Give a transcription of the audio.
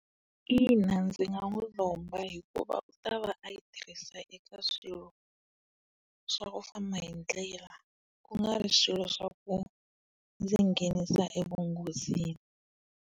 Ina ndzi nga n'wi lomba hikuva u ta va a yi tirhisa eka swilo swa ku famba hi ndlela kungari swilo swa ku ndzi nghenisa evunghozini.